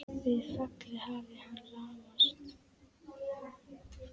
Við fallið hafi hann lamast.